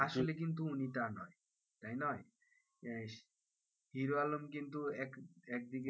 আসলে কিন্তু উনি তা নয়, তাই নয়। হিরো আলম কিন্তু এক একদিকে,